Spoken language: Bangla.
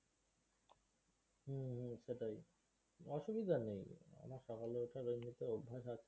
হম হম সেটাই। অসুবিধা নেই, আমার সকালে ওঠার অভ্যাস এমনিতেও আছে।